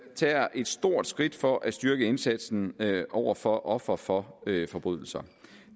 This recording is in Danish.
tager et stort skridt for at styrke indsatsen over for ofre for forbrydelser